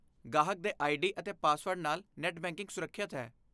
ਗਾਹਕ ਦੇ ਆਈਡੀ ਅਤੇ ਪਾਸਵਰਡ ਨਾਲ ਨੈੱਟ ਬੈਂਕਿੰਗ ਸੁਰੱਖਿਅਤ ਹੈ।